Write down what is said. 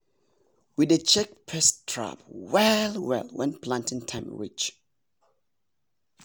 we dey check pest trap well well when planting time reach.